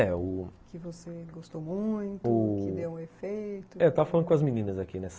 É, o... Que você gostou muito, que deu um efeito... É, eu estava falando com as meninas aqui, né?